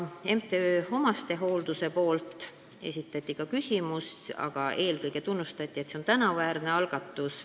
MTÜ Eesti Omastehooldus üldiselt tunnustas, et see on tänuväärne algatus.